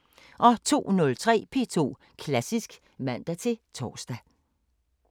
02:03: P2 Klassisk (man-tor)